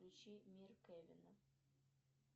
включи мир кевина